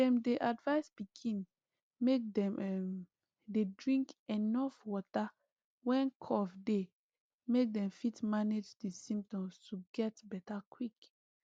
dem dey advise pikin make dem um dey drink enuf water when cough dey make dem fit manage di symptoms to get beta quick